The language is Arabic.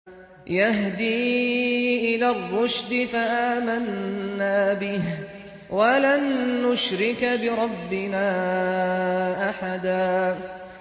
يَهْدِي إِلَى الرُّشْدِ فَآمَنَّا بِهِ ۖ وَلَن نُّشْرِكَ بِرَبِّنَا أَحَدًا